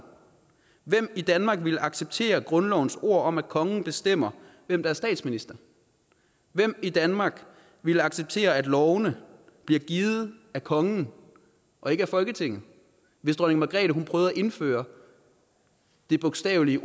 hvem i danmark ville acceptere grundlovens ord om at kongen bestemmer hvem der er statsminister hvem i danmark ville acceptere at lovene bliver givet af kongen og ikke af folketinget hvis dronning margrethe prøvede at indføre en bogstavelig